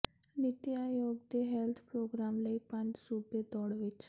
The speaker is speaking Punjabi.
ਨੀਤੀ ਆਯੋਗ ਦੇ ਹੈਲਥ ਪ੍ਰੋਗਰਾਮ ਲਈ ਪੰਜ ਸੂਬੇ ਦੌੜ ਵਿੱਚ